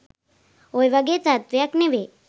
ඔය වගේ තත්වයක් නෙවෙයි